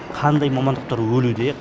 қандай мамандықтар өлуде